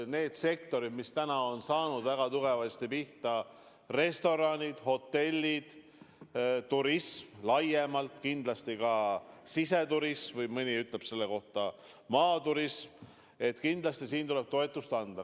Need sektorid, mis väga tugevasti pihta on saanud –restoranid, hotellid, turism laiemalt, kindlasti ka siseturism või nagu mõni selle kohta ütleb, maaturism –, kindlasti neile tuleb toetust anda.